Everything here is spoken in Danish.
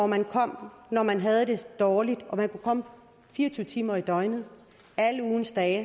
man kom når man havde det dårligt og man kunne komme fire og tyve timer i døgnet alle ugens dage